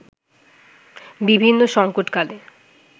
বিভিন্ন সংকটকালে